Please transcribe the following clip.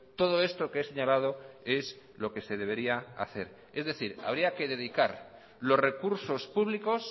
todo esto que he señalado es lo que se debería hacer es decir habría que dedicar los recursos públicos